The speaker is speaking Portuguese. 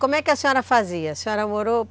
Como é que a senhora fazia? A senhora morou